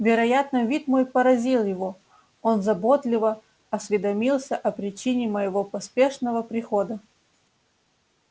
вероятно вид мой поразил его он заботливо осведомился о причине моего поспешного прихода